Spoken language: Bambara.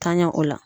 Tanɲɛ o la